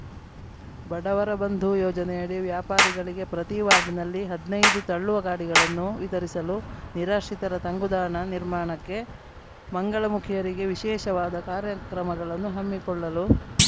ಬಡವರ ಬಂಧು ಯೋಜನೆಯಡಿ ವ್ಯಾಪಾರಿಗಳಿಗೆ ಪ್ರತಿ ವಾರ್ಡ್‌ನಲ್ಲಿ ಹದ್ನಾಯ್ದು ತಳ್ಳುವ ಗಾಡಿಗಳನ್ನು ವಿತರಿಸಲು ನಿರಾಶ್ರಿತರ ತಂಗುದಾಣ ನಿರ್ಮಾಣಕ್ಕೆ ಮಂಗಳಮುಖಿಯರಿಗೆ ವಿಷೇಶವಾದ ಕಾರ್ಯಕ್ರಮಗಳನ್ನು ಹಮ್ಮಿಕೊಳ್ಳಲು